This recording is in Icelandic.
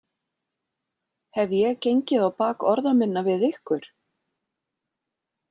Hef ég gengið á bak orða minna við ykkur?